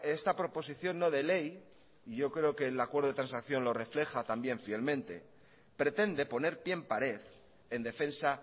esta proposición no de ley yo creo que el acuerdo de transacción lo refleja también fielmente pretende poner pie en pared en defensa